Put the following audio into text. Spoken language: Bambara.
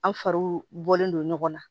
An faw bɔlen don ɲɔgɔn na